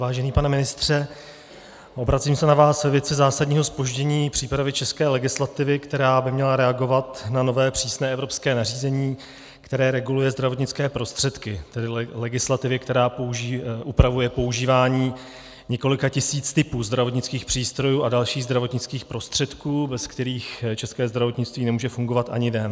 Vážený pane ministře, obracím se na vás ve věci zásadního zpoždění přípravy české legislativy, která by měla reagovat na nové přísné evropské nařízení, které reguluje zdravotnické prostředky, tedy legislativy, která upravuje používání několika tisíc typů zdravotnických přístrojů a dalších zdravotnických prostředků, bez kterých české zdravotnictví nemůže fungovat ani den.